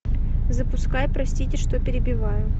запускай простите что перебиваю